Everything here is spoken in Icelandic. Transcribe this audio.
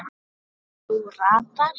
Þú ratar?